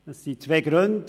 Es sind zwei Gründe.